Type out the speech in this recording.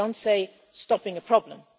I don't say stopping a problem'.